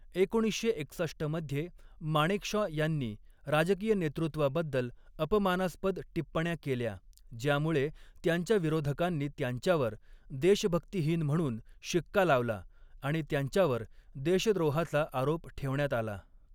एकोणीसशे एकसष्ट मध्ये, माणेकशॉ यांनी राजकीय नेतृत्वाबद्दल अपमानास्पद टिप्पण्या केल्या, ज्यामुळे त्यांच्या विरोधकांनी त्यांच्यावर देशभक्तीहीन म्हणून शिक्का लावला आणि त्यांच्यावर देशद्रोहाचा आरोप ठेवण्यात आला.